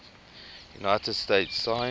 united states signed